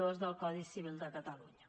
dos del codi civil de catalunya